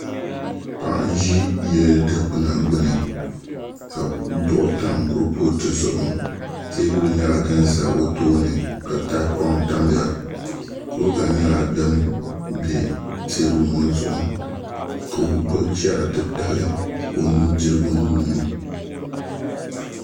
Paɣa n ʒi yili dikpuna gbuni ka duɣu tam kurifooti zuɣu teebuli nyɛla din ʒɛ o tooni ka tahapoŋ tamya kuriga nyɛla din bɛ teebuli ŋo zuɣu ka o gbubi chɛri titali o nudirigu nuuni